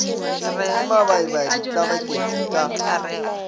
ke mabaibai di tlabaketšwe ka